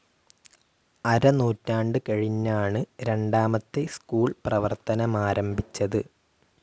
അരനൂറ്റാണ്ട് കഴിഞ്ഞാണ് രണ്ടാമത്തെ സ്കൂൾ പ്രവർത്തനമാരംഭിച്ചത്.